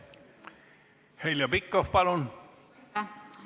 Heljo Pikhof, palun!